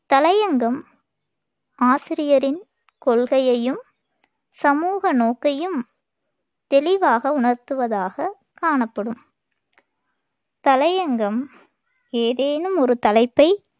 தலையங்கம் ஆசிரியரின் கொள்கையையும் சமூக நோக்கையும் தெளிவாக உணர்த்துவதாகக் காணப்படும் தலையங்கம் ஏதேனும் ஒரு தலைப்பை